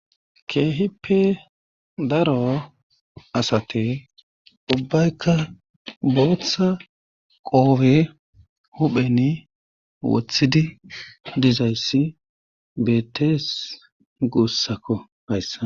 keehippe daro asate ubbaykka booththa qoowe hupheni wothidi dizayssi beettes guussakko payssa